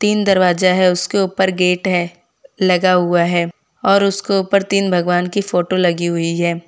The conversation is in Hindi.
तीन दरवाजा है उसके ऊपर गेट है लगा हुआ है और उसको ऊपर तीन भगवान की फोटो लगी हुई है।